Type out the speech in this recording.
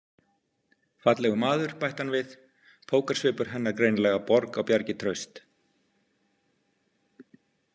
Fallegur maður, bætti hann við, pókersvipur hennar greinilega borg á bjargi traust.